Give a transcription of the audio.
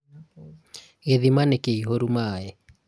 gĩthima nĩkĩihũru maĩ